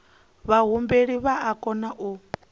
vhahumbeli vha o kona u